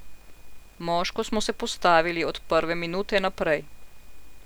Moško smo se postavili od prve minute naprej.